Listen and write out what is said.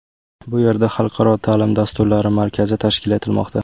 Bu yerda xalqaro ta’lim dasturlari markazi tashkil etilmoqda.